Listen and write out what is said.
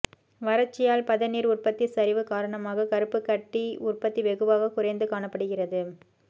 வறட்சியால் பதநீர் உற்பத்தி சரிவு காரணமாக கருப்புக்கட்டி உற்பத்தி வெகுவாக குறைந்து காணப்படுகிறது